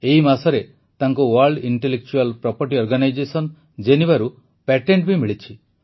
ଏହି ମାସରେ ତାଙ୍କୁ ୱର୍ଲ୍ଡ ଇଣ୍ଟେଲେକଚୁଆଲ୍ ପ୍ରପର୍ଟି ଅର୍ଗାନାଇଜେସନ Genevaରୁ ପେଟେଣ୍ଟ ବି ମିଳିଛି